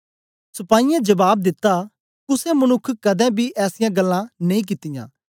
सपाहीयें ने जबाब दिता कुसे मनुक्ख कदें बी ऐसीयां गल्लां नेई कित्तियां